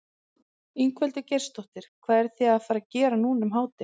Ingveldur Geirsdóttir: Hvað eruð þið að fara gera núna eftir hádegi?